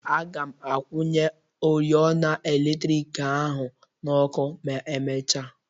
Aga m akwụnye oriọna eletriki ahụ n'ọkụ ma emechia.